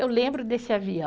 Eu lembro desse avião.